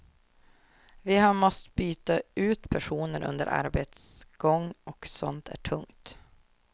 Vi har måst byta ut personer under arbetets gång, och sånt är tungt.